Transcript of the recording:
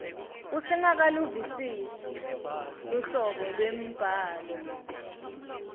usengakaluvisisi luhlobo lwembhalo